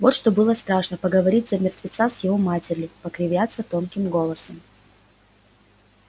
вот что было страшно поговорить за мертвеца с его матерью покривляться тонким голосом